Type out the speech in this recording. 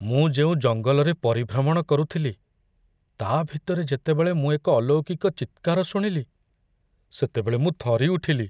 ମୁଁ ଯେଉଁ ଜଙ୍ଗଲରେ ପରିଭ୍ରମଣ କରୁଥିଲି, ତା' ଭିତରେ ଯେତେବେଳେ ମୁଁ ଏକ ଅଲୌକିକ ଚିତ୍କାର ଶୁଣିଲି ସେତେବେଳେ ମୁଁ ଥରିଉଠିଲି।